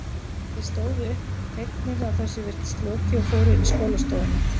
Þeir stóðu upp, fegnir að þessu virtist lokið og fóru inn í skólastofuna.